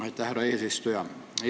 Aitäh, härra eesistuja!